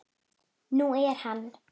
Nú er hann